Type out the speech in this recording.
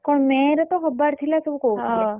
କଣ May ରେ ତ ହବାର ଥିଲା ସବୁ କହୁଥିଲେ। ।